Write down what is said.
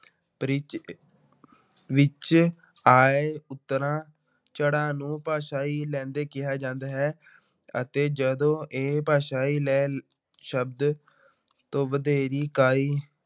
pitch ਵਿੱਚ ਆਏ ਉਤਰਾਅ ਚੜ੍ਹਾਅ ਨੂੰ ਭਾਸ਼ਾਈ ਲਹਿੰਦੇ ਕਿਹਾ ਜਾਂਦਾ ਹੈ ਅਤੇ ਜਦੋਂ ਇਹ ਭਾਸ਼ਾਈ ਲੈਅ ਸ਼ਬਦ ਤੋਂ ਵਧੇਰੀ ਇਕਾਈ